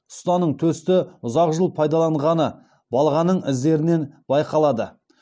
ұстаның төсті ұзақ жыл пайдаланғаны балғаның іздерінен байқалады